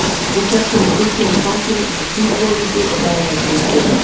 Nú hélt hún á styttunni í fanginu eins og hvítvoðungi og hraðaði sér upp götuna.